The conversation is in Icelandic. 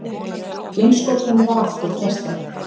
Geimskotinu var aftur frestað